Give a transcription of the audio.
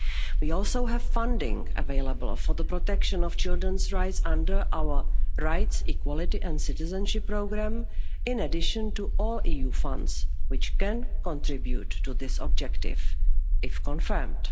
We also have funding available for the protection of children's rights under our Rights, Equality and Citizenship Programme, in addition to all EU funds, which can contribute to this objective, if confirmed.